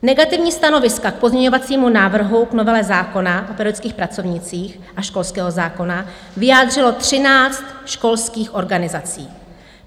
Negativní stanoviska k pozměňovacímu návrhu k novele zákona o pedagogických pracovnících a školského zákona vyjádřilo 13 školských organizací.